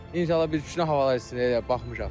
İnşallah bir iki günə havalar istiləşəcək elə bil baxmışam.